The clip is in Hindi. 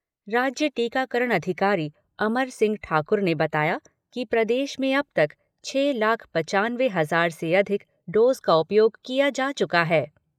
राज्य टीकाकरण अधिकारी अमर सिंह ठाकुर ने बताया कि प्रदेश में अब तक छह लाख पंचानवे हजार से अधिक डोज का उपयोग किया जा चुका है।